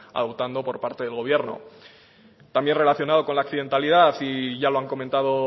adoptado por parte del gobierno también relacionado con la accidentalidad y ya lo han comentado